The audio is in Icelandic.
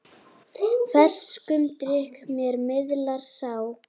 Ferskum drykk þér miðlar sá.